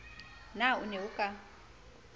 na o ne o ka